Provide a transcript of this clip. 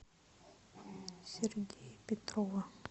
сергея петрова